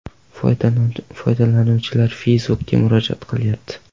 Foydalanuvchilar Facebook’ga murojaat qilyapti.